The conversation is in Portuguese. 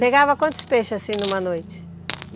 Pegava quantos peixes assim numa noite?